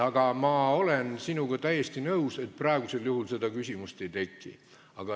Aga ma olen sinuga täiesti nõus, et praegusel juhul seda küsimust ei teki.